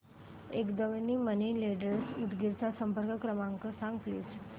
Kadam money lenders Udgir चा संपर्क क्रमांक सांग प्लीज